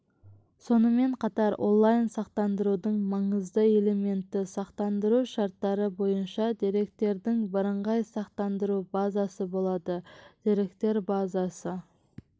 сонымен қатар онлайн сақтандырудың маңызды элементі сақтандыру шарттары бойынша деректердің бірыңғай сақтандыру базасы болады деректер базасы